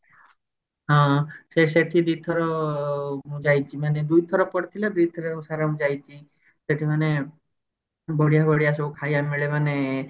ହଁ ସେଠି ଦିଥର ମୁଁ ଯାଇଛି ମାନେ ଦୁଇଥର ପଡିଥିଲା ଦୁଇଥର ସାରା ମୁଁ ଯାଇଛି ସେଠି ମାନେ ବଢିଆ ବଢିଆ ସବୁ ଖାଇବା ମିଳେ ମାନେ